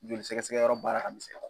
Joli sɛgɛsɛgɛ yɔrɔ baara ka misɛn.